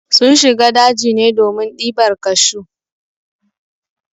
Sun shiga daji ne domin ɗibar kashu.